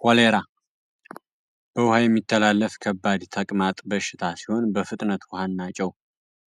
ኮሌራ በውሃ የሚተላለፍ ከባድ ታቅማጥ በሽታ ሲሆን በፍጥነት ውሃን ናጨው